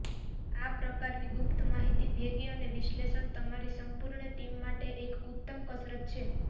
આ પ્રકારની ગુપ્ત માહિતી ભેગી અને વિશ્લેષણ તમારી સંપૂર્ણ ટીમ માટે એક ઉત્તમ કસરત છે